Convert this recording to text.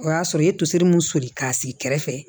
O y'a sɔrɔ i ye toseri mun soli k'a sigi kɛrɛfɛ